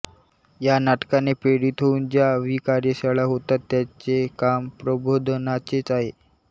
ह्या नाटकाने प्रेरित होऊन ज्या व्हीकार्यशाळा होतात त्यांचे काम प्रबोधनाचेच आहे